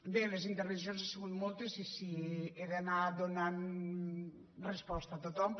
bé les intervencions han sigut moltes i si he d’anar do·nant resposta a tothom